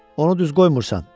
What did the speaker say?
Onu düz qoymursan.